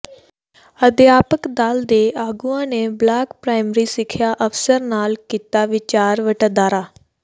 ਅਧਿਆਪਕ ਦਲ ਦੇ ਆਗੂਆਂ ਨੇ ਬਲਾਕ ਪ੍ਰਾਇਮਰੀ ਸਿੱਖਿਆ ਅਫ਼ਸਰ ਨਾਲ ਕੀਤਾ ਵਿਚਾਰ ਵਟਾਂਦਰਾ